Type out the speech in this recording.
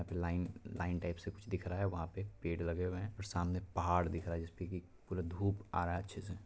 Line line type से कुछ दिख रहा है वहां पे पेड़ लगे हुए हैं और सामने पहाड़ दिख रहा है जिस पे कि पूरा धूप आ रहा है अच्छे से।